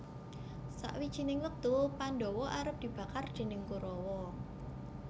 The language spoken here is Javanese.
Sawijining wektu Pandhawa arep dibakar déning Korawa